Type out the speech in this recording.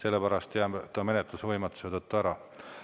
Sellepärast jätame menetluse võimatuse tõttu ära.